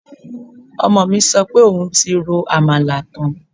Ọmọ mi sọ pé òun ti ro àmàlà tán